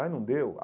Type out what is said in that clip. Ah, não deu.